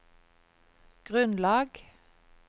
grunnlag